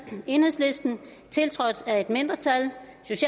tiltrådt af et mindretal